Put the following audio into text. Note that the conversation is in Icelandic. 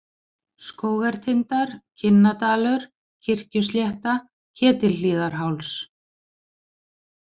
Skógartindar, Kinnadalur, Kirkjuslétta, Ketilhlíðarháls